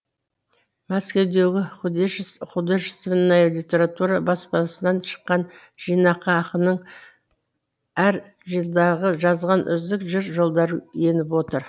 мәскеудегі художественная литература баспасынан шыққан жинаққа ақынның әр жылдағы жазған үздік жыр жолдары еніп отыр